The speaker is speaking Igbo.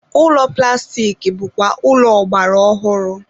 ụlọ plastik bụkwa ụlọ ọgbara ọhụrụ.